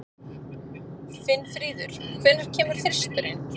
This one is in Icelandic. Finnfríður, hvenær kemur þristurinn?